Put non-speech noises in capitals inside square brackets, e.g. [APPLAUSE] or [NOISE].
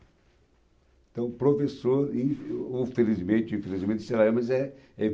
Então, o professor, in [UNINTELLIGIBLE] infelizmente, [UNINTELLIGIBLE] sei lá, mas é é